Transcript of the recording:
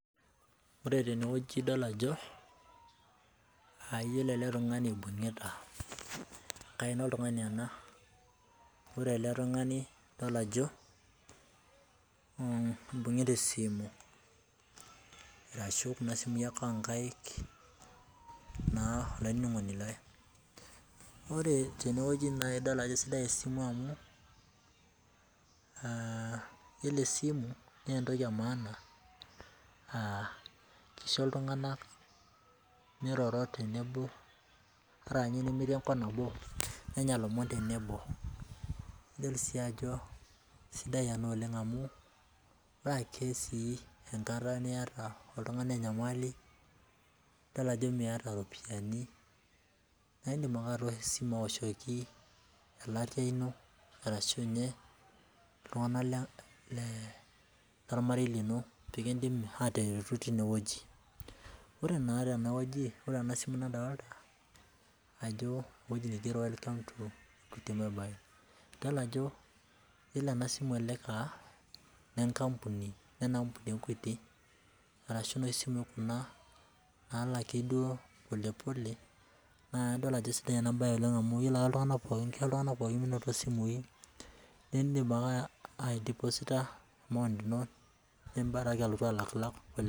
Ore tene wueji idol ajo, ayiolou ele tung'ani ibungita enkaina oltungani ena. Ore ele tung'ani nadol ajo mm ibungita esimu arashu kuna simui ake onkaik naa olaininingoni lai. Ore tene wueji naa idol ajo sidai esimu amu ah iyielo esimu naa etoki emaana ah kisho iltunganak miroro ata ninye tenemetii enkop nabo nenya ilomon tenebo nidol sii ajo sidai ena oleng amu, ore ake sii enkata niata oltungani enyamali nidol ajo Miata iropiyani naidim ake atoosho esimu awoshoki elatia ino arashu ninye iltunganak lolmarei lino pee kidimi ataretu tine wueji. Ore naa tene wueji ore ena simu nadolita ajo ewueji nigero welcome to equity mobile idol ajo yiolo ena simu elelek ah ne kapuni nena ampuni e equity arashu noshi simui kuna nalaki duo pole pole naa adol ajo sidai ena bae oleng amu, kisho iltunganak pookin minoto simui nidim ake aidiposita amount ino niboraki ake alotu alak.